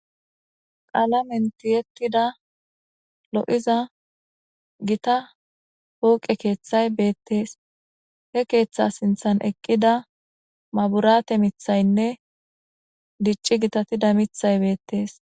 Qaala menti yettida lo7iza gita pooqe keeththay beettees he keeththa sinthan eqqida maburate mithaynne dicci gitatida mithay beettees.